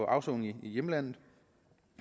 afsone i hjemlandet